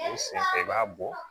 O senfɛ i b'a bɔ